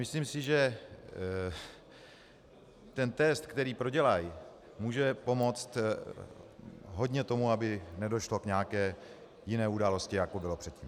Myslím si, že ten test, který prodělají, může pomoci hodně tomu, aby nedošlo k nějaké jiné události, jako bylo předtím.